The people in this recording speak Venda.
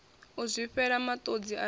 u zwifhela matodzi a ri